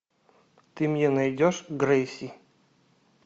ты мне найдешь грейси